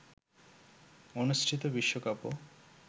অনুষ্ঠিত বিশ্বকাপও